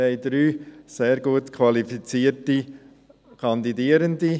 Wir haben 3 sehr gut qualifizierte Kandidierende.